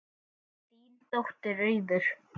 Þín dóttir Auður.